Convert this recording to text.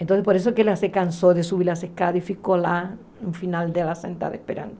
Então, por isso que ela se cansou de subir a escada e ficou lá no final dela sentada esperando.